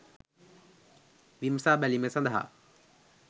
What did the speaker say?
විමසා බැලීම සඳහා